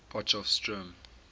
potchefstroom